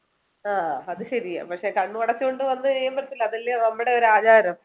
അഹ് അത് ശെരിയാ പക്ഷെ കണ്ണടച്ചുകൊണ്ട് വന്നുകഴുമ്പോൾ അതെല്ലേ നമ്മുടെ ഒരു ആചാരം